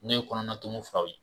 N'o ye kɔnɔna tumuw fura ye